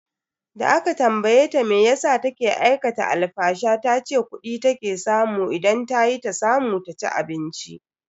Da aka tambaye ta meyasa take aikata alfasha tace kudi take samu idan tayi ta samu ta ci abinci.